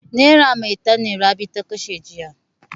Nera maitan ne Rabi ta kashe jiya.